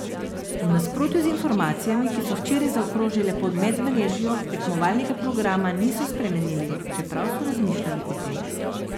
V nasprotju z informacijami, ki so včeraj zaokrožile po medmrežju, tekmovalnega programa niso spremenili, čeprav so razmišljali o tem.